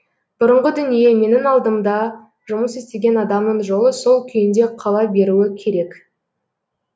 бұрынғы дүние менің алдымда жұмыс істеген адамның жолы сол күйінде қала беруі керек